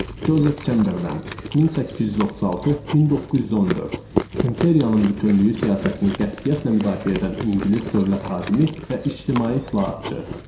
Cozef Çemberlen (1836-1914) İmperiyanın bütövlüyü siyasətini qətiyyətlə müdafiə edən ingilis dövlət xadimi və ictimai islahatçı.